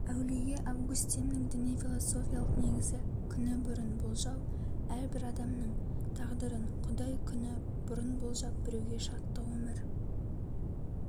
әулие августиннің діни философиялық негізі күні бұрын болжау әрбір адамның тағдырын құдай күні бұрын болжап біреуге шаттық өмір